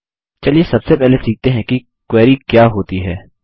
चलिए सबसे पहले सीखते हैं की क्वेरी क्या होती है